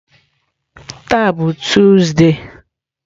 Taa bụ Tuzde.